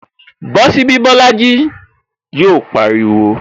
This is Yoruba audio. Bosi ibi Bolaji! Yọ pariwo